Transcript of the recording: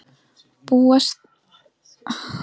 Má búast við mörgum á heimaleiki ykkar?